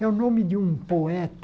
É o nome de um poeta.